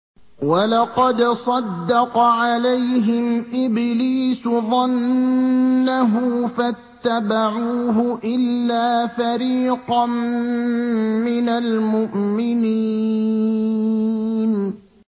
وَلَقَدْ صَدَّقَ عَلَيْهِمْ إِبْلِيسُ ظَنَّهُ فَاتَّبَعُوهُ إِلَّا فَرِيقًا مِّنَ الْمُؤْمِنِينَ